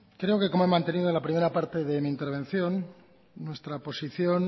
creo que como he mantenido en la primera parte de mi intervención nuestra posición